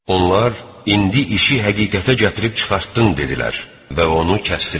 Onlar: "İndi işi həqiqətə gətirib çıxartdın" dedilər və onu kəsdilər.